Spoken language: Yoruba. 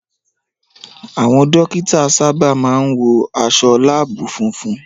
Àwọn dókítà sábà máa ń wọ aṣọ láàbù funfun